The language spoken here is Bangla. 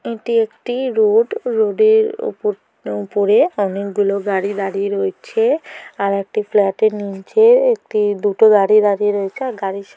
এটি একটিরো রোড রোড - এর উপর-উপরে অনেকগুলো গাড়ি দাঁড়িয়ে রয়েছে আর একটি ফ্ল্যাট -এর নিচে একটি দুটো গাড়ি দাঁড়িয়ে রয়েছে আর গাড়ির --